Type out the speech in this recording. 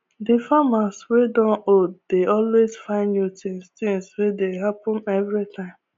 the farmers wey don old dey always find new tins tins wey dey happen everytime